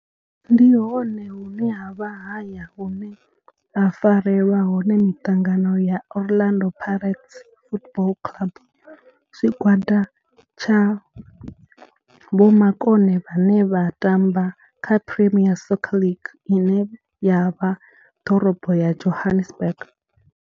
Ndi hone hune havha haya hune ha farelwa hone mitangano ya Orlando Pirates Football Club. Tshigwada tsha vhomakone vhane vha tamba kha Premier Soccer League ine ya vha ḓorobo ya Johannesburg.